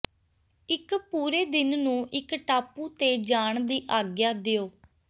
ਇੱਕ ਪੂਰੇ ਦਿਨ ਨੂੰ ਇੱਕ ਟਾਪੂ ਤੇ ਜਾਣ ਦੀ ਆਗਿਆ ਦਿਓ